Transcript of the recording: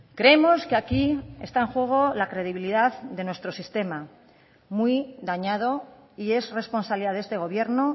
creemos que aquí está en juego la credibilidad de nuestro sistema muy dañado y es responsabilidad de este gobierno